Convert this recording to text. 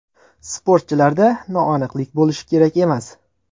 Sportchilarda noaniqlik bo‘lishi kerak emas.